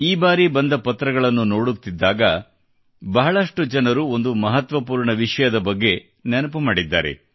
ಈ ಬಾರಿ ಬಂದವುಗಳನ್ನು ನೋಡುತ್ತಿದ್ದಾಗ ಬಹಳಷ್ಟು ಜನರುಒಂದು ಮಹತ್ವಪೂರ್ಣ ವಿಷಯದ ಬಗ್ಗೆ ನೆನಪು ಮಾಡಿದ್ದಾರೆ